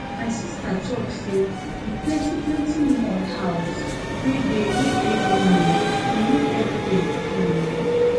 my sista talk sey di plenty plenty mud house wey dey wey dey benue dey make everywhere cool